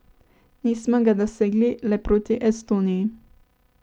Nismo ga dosegli le proti Estoniji.